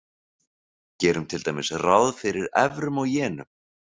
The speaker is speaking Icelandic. Gerum til dæmis ráð fyrir evrum og jenum.